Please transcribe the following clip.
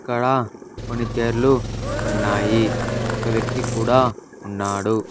ఇక్కడ కొన్ని చేర్లు ఉన్నాయి ఒక వ్యక్తి కూడా ఉన్నాడు.